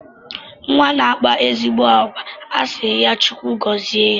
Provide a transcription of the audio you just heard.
Nwa na-akpa ezigbo àgwà a sị ya Chukwu gọzie ya.